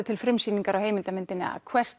til frumsýningar á heimildarmyndinni a